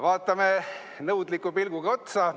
Vaatame nõudliku pilguga otsa.